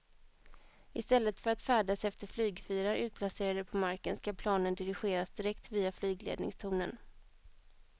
I stället för att färdas efter flygfyrar utplacerade på marken ska planen dirigeras direkt via flygledningstornen.